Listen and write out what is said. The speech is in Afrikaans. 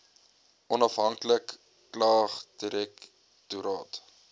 onafhanklike klagtedirek toraat